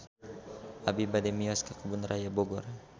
Abi bade mios ka Kebun Raya Bogor